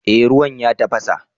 Eh ruwan ya tafasa